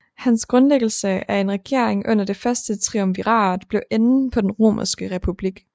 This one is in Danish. Hans grundlæggelse af en regering under det første triumvirat blev enden på den romerske republik